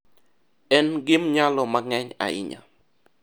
En gimnyalo mang'eny ahinya.